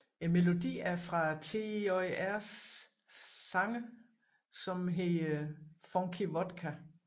Melodien er fra TJR sangs som hedder Funky Vodka